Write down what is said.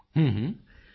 ਮੋਦੀ ਜੀ ਹੂੰ ਹੂੰ